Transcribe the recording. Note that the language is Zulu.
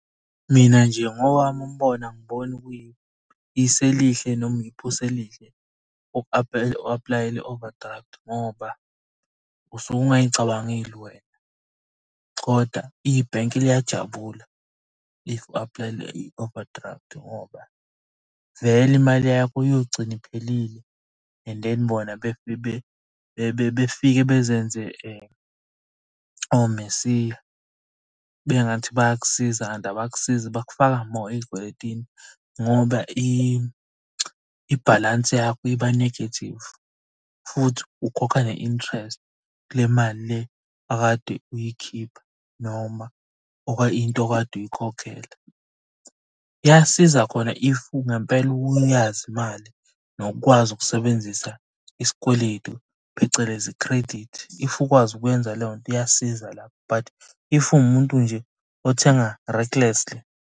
Mina nje ngowami umbono angiboni kuyisu elihle noma uku-aplayela i-overdraft ngoba usuke ungay'cabangeli wena koda ibhenki liyajabula if u-aplayele i-overdraft ngoba vele imali yakho iyogcina iphelile, and then bona befike bezenze oMesiya. Kubengathi bayakusiza kanti abakusizi bakufaka more ey'kweletini ngoba ibhalansi yakho iba negative, futhi ukhokha ne-interest. Ku le mali le okade uyikhipha noma into okade uyikhokhela. Kuyasiza khona if ngempela uyazi imali nokukwazi ukusebenzisa isikweletu phecelezi i-credit. If ukwazi ukwenza leyo nto iyasiza lapho, but if uwumuntu nje othenga .